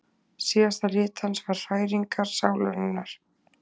Síðasta rit hans var Hræringar sálarinnar.